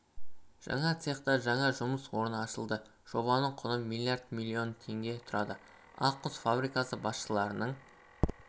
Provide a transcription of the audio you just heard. жаңа цехта жаңа жұмыс орны ашылды жобаның құны млрд миллион теңге тұрады ақ құс фабрикасы басшыларының